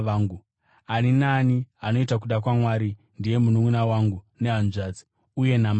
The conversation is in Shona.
Ani naani anoita kuda kwaMwari ndiye mununʼuna wangu nehanzvadzi, uye namai vangu.”